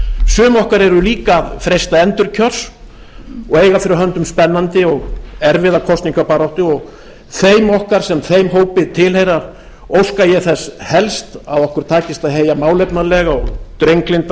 sum okkar eru líka að freista endurkjörs og eiga fyrir höndum spennandi og erfiða kosningabaráttu þeim okkar sem þeim hópi tilheyra óska ég þess helst að okkur takist að heyja málefnalega og drenglynda